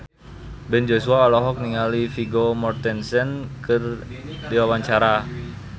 Ben Joshua olohok ningali Vigo Mortensen keur diwawancara